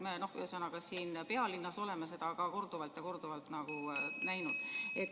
Me siin pealinnas oleme seda korduvalt ja korduvalt näinud.